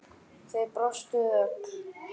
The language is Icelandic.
Þið brostuð öll.